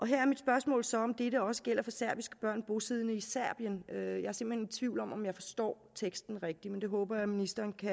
her er mit spørgsmål så om dette også gælder for serbiske børn bosiddende i serbien jeg er i tvivl om om jeg forstår teksten rigtigt men det håber jeg ministeren kan